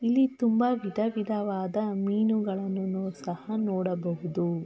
ಇಲ್ಲಿ ತುಂಬ ವಿಧ ವಿಧವಾದ ಮೀನುಗಳನ್ನು ಸಹ ನೋಡಬಹುದು .